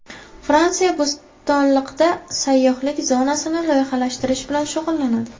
Fransiya Bo‘stonliqda sayyohlik zonasini loyihalashtirish bilan shug‘ullanadi.